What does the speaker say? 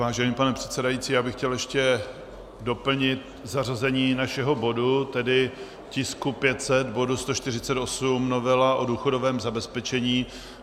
Vážený pane předsedající, já bych chtěl ještě doplnit zařazení našeho bodu, tedy tisku 500, bod 148, novela o důchodovém zabezpečení.